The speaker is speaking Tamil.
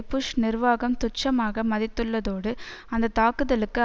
புஷ் நிர்வாகம் துச்சமாக மதித்துள்ளதோடு அந்த தாக்குதலுக்கு